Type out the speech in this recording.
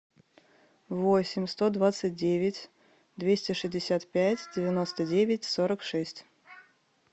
восемь сто двадцать девять двести шестьдесят пять девяносто девять сорок шесть